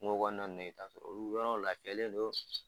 Kungo kɔnɔna nunnu ye ka sɔrɔ olu yɔrɔw lafiyalen don